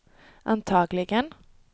antagligen